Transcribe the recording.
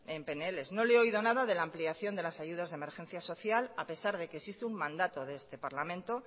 en pnls no le he oído nada de la ampliación de las ayudas de emergencia social a pesar de que existe un mandato de este parlamento